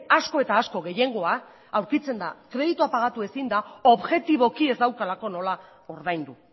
asko eta asko gehiengoa aurkitzen da kreditua pagatu ezina objetiboki ez daukalako nola ordaindu